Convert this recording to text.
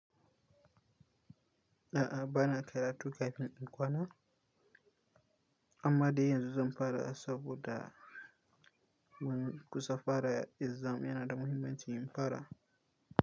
A'a, ba na karatu kafin in kwana, amma dai yanzu zan fara saboda mun kusa fara exam, yana da muhimmanci in fara.